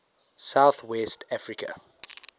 south west africa